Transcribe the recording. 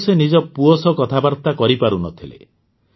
ଆଗରୁ ସେ ନିଜ ପୁଅ ସହ କଥାବାର୍ତ୍ତା କରିପାରୁ ନଥିଲେ